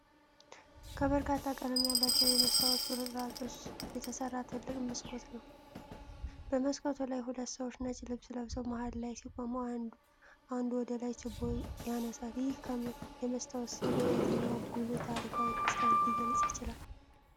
ከበርካታ ቀለም ያላቸው የመስታወት ቁርጥራጮች የተሠራ ትልቅ መስኮት ነው። በመስኮቱ ላይ ሁለት ሰዎች ነጭ ልብስ ለብሰው መሃል ላይ ሲቆሙ፣ አንዱ ወደ ላይ ችቦ ያነሳል። ይህ የመስታወት ሥዕል የየትኛውን ጉልህ ታሪካዊ ክስተት ሊገልጽ ይችላል?